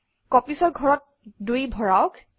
Copies অৰ ঘৰত 2 ভৰাওক